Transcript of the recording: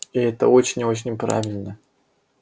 и это очень и очень правильно